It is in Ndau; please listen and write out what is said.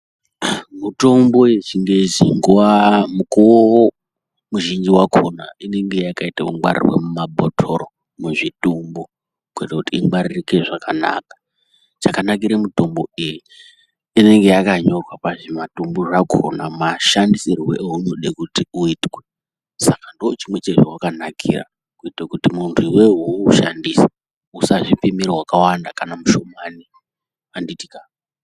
Mitombo yechingezi nguva mukuvo mizhinji yakona inenge yakaite kungwarirwe mumabotoro muzvitumbu. Kuitira kuti ingwaririke zvakanaka chakanakire mitombo iyi inenge yakanyorwa pazvimatumbu zvakona mashandisirwe eunode kuti uitwe. Saka ndochimwe chezvavakanakira kuite kuti muntu veve veiushandisa usazvipimira vakawanda kana mushomani handitika.